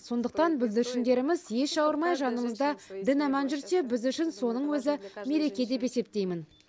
сондықтан бүлдіршіндеріміз еш ауырмай жанымызда дін аман жүрсе біз үшін соның өзі мереке деп есептеймін